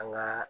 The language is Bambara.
An ka